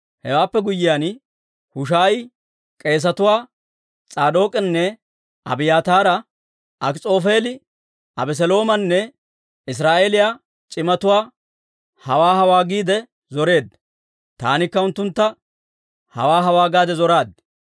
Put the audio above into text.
Hewaappe guyyiyaan, Hushaayi k'eesetuwaa S'aadook'anne Abiyaataara, «Akis'oofeeli Abeseloomanne Israa'eeliyaa c'imatuwaa hawaa hawaa giide zoreedda; taanikka unttuntta hawaa hawaa gaade zoraad.